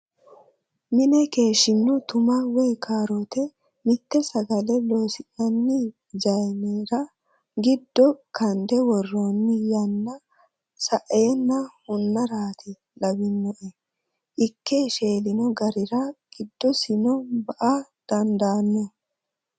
Mine keeshshino tuma woyi karote mite sagale loosi'nanni zayinera giddo kande woroni yanna saenna hunarati lawinoe ikke sheelino garira giddosino ba"a dandaano.